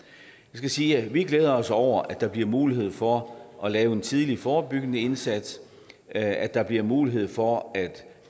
skal sige at vi glæder os over at der bliver mulighed for at lave en tidlig forebyggende indsats at der bliver mulighed for at